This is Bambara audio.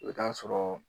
I bɛ taa sɔrɔ